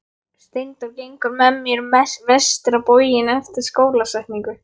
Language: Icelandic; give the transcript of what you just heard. Steindór gengur með mér vestur á bóginn eftir skólasetningu.